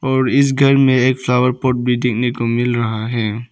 और इस घर में एक फ्लावर पॉट भी देखने को मिल रहा है।